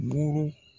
Buru